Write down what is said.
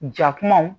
Ja kumaw